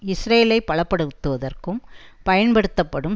இஸ்ரேலை பலப்படுத்துவதற்கும் பயன்படுத்தப்படும்